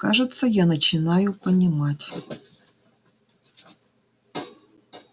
кажется я начинаю понимать